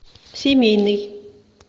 семейный